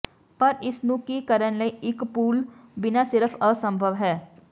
ਪਰ ਇਸ ਨੂੰ ਕੀ ਕਰਨ ਲਈ ਇੱਕ ਪੂਲ ਬਿਨਾ ਸਿਰਫ਼ ਅਸੰਭਵ ਹੈ